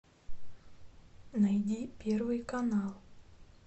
найди первый канал